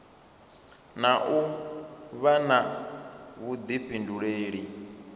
na u vha na vhuḓifhinduleli